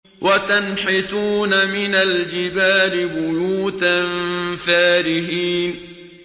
وَتَنْحِتُونَ مِنَ الْجِبَالِ بُيُوتًا فَارِهِينَ